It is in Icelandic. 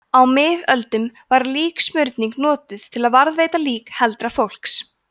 á miðöldum var líksmurning notuð til að varðveita lík heldra fólks